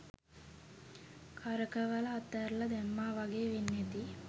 කරකවල අතැරලා දැම්මා වගේ වෙන්න ඇති.